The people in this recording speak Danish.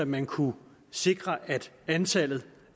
man kunne sikre at antallet